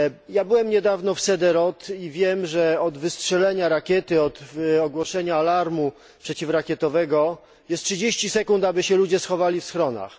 Ja byłem niedawno w Sderot i wiem, że od wystrzelenia rakiety, od ogłoszenia alarmu przeciwrakietowego jest 30 sekund, aby ludzie schowali się w schronach.